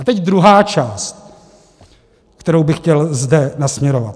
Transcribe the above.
A teď druhá část, kterou bych chtěl zde nasměrovat.